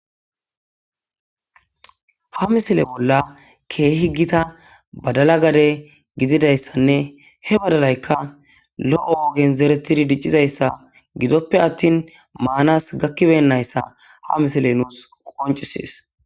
ha misile bolla keehi ggita badala gade gididayssanne he badalaykka lo7o ogen zeretidi diccizayssa gidoppe attin maanas gakkiben nayssa ha misile nuus qoncisees